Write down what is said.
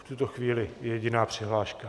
V tuto chvíli jediná přihláška.